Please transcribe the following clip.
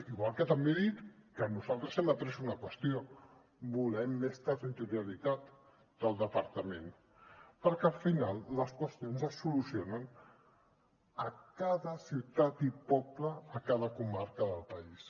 igual que també he dit que nosaltres hem après una qüestió volem més territorialitat del departament perquè al final les qüestions es solucionen a cada ciutat i poble a cada comarca del país